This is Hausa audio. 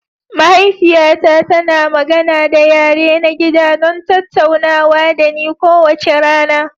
Mahaifiyata tana magana da yare na gida don tattaunawa da ni kowace rana.